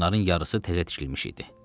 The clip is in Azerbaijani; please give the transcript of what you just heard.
Bunların yarısı təzə tikilmiş idi.